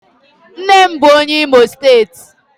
Nne m bu onye Imo steeti